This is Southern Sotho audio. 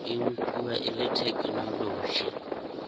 e nkuwa e le thekenoloji